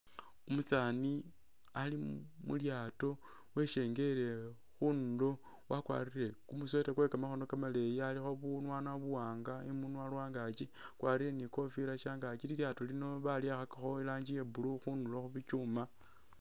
Umusaani ali mu’lyaato weshengele khunduro wakwarire kumu sweater kwe kamakhono kamaleyi alikho bunwana buwanga iminwa lwangakyi akwarire ne kofila shangakyi , li’lyaato lino baliwakhakakho iranji iya blue khundro khubi’kyuma.